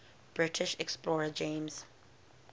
british explorer james